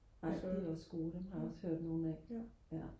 ej de er også gode dem har jeg også hørt nogen af